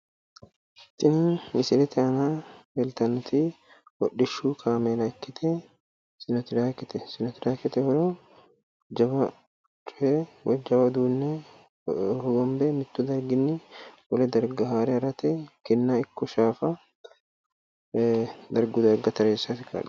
Tini misilete aana leeltannoti hodhishshu kaameela ikkite sinotiraakete. Sinotiraakete horo jawa coye woyi jawa uduunne hogombe mittu darginni wole darga haare harate kinna ikko shaafa darguyi darga tareessate kaa'lanno.